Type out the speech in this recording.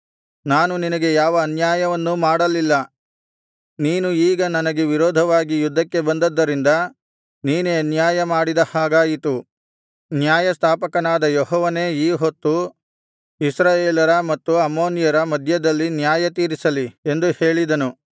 ನಾನು ನಿನಗೆ ಯಾವ ಅನ್ಯಾಯವನ್ನೂ ಮಾಡಲಿಲ್ಲ ನೀನು ಈಗ ನನಗೆ ವಿರೋಧವಾಗಿ ಯುದ್ಧಕ್ಕೆ ಬಂದದ್ದರಿಂದ ನೀನೇ ಅನ್ಯಾಯ ಮಾಡಿದ ಹಾಗಾಯಿತು ನ್ಯಾಯಸ್ಥಾಪಕನಾದ ಯೆಹೋವನೇ ಈ ಹೊತ್ತು ಇಸ್ರಾಯೇಲರ ಮತ್ತು ಅಮ್ಮೋನಿಯರ ಮಧ್ಯದಲ್ಲಿ ನ್ಯಾಯತೀರಿಸಲಿ ಎಂದು ಹೇಳಿಸಿದನು